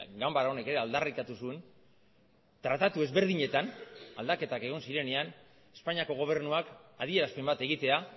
ganbara honek ere aldarrikatu zuen tratatu ezberdinetan aldaketak egon zirenean espainiako gobernuak adierazpen bat egitea